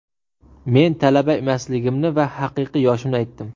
Men talaba emasligimni va haqiqiy yoshimni aytdim.